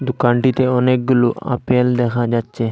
দোকানটিতে অনেকগুলো আপেল দেখা যাচ্ছে।